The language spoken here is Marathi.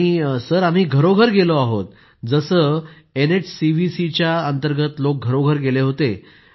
आणि सर आम्ही घरोघर गेलो आहोत जसे एनएचसीव्हीसीच्या अंतर्गत लोक घरोघर गेले होते